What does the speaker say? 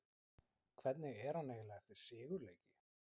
Hvernig er hann eiginlega eftir sigurleiki?